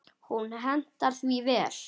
Hún hentar því vel.